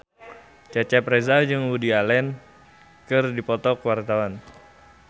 Cecep Reza jeung Woody Allen keur dipoto ku wartawan